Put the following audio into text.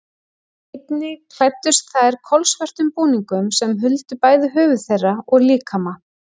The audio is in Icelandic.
Einnig klæddust þær kolsvörtum búningum sem huldu bæði höfuð þeirra og líkama.